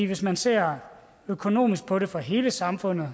hvis man ser økonomisk på det fra hele samfundets